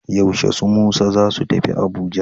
Yaushe su Musa za su tafi Abuja?